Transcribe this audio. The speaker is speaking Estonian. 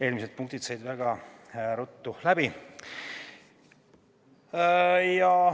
Eelmised punktid said väga ruttu läbi.